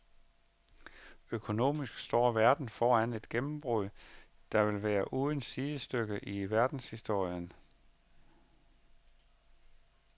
Økonomisk står verden foran et gennembrud, der vil være uden sidestykke i verdenshistorien.